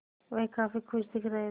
वह काफ़ी खुश दिख रहे थे